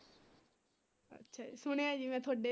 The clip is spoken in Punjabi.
ਸੁਣਿਆ ਜੀ ਮੈਂ ਤੁਹਾਡੇ